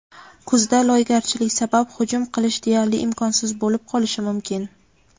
Kuzda loygarchilik sabab hujum qilish deyarli imkonsiz bo‘lib qolishi mumkin.